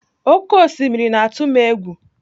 Oké osimiri na-atụ m egwu.